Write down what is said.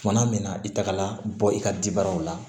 Kumana min na i tagala bɔ i ka dibaaraw la